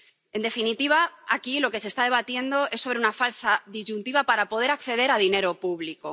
En definitiva, aquí lo que se está debatiendo es sobre una falsa disyuntiva para poder acceder a dinero público.